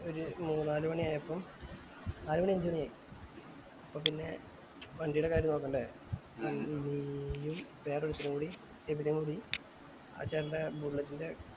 ഒരു മൂന്ന് നാല് മാണി ആയപ്പോ നാല് മാണി അഞ്ച് മാണി ആയി അപ്പൊ പിന്നെ വണ്ടിടെ കാര്യം നോക്കണ്ടേ നീയും വേറെ ഒരുത്തനും കൂടി എബിനും കൂടി ആ ചേട്ടൻറെ bullet ന്റെ